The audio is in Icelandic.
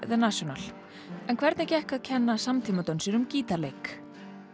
National en hvernig gekk að kenna gítarleik